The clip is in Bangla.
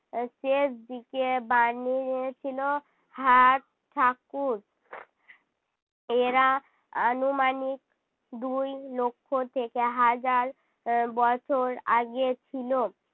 আহ শেষ দিকে বানিয়েছিলো হাত ঠাকুর এরা আনুমানিক দুই লক্ষ থেকে হাজার এর বছর আগে ছিল,